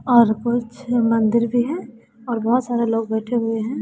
और कुछ मंदिर भी हैं और बहुत सारे लोग बैठे हुए हैं।